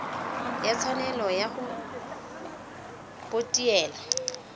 ya tshwanelo ya go potiela